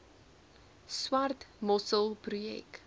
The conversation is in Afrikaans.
swart mossel projek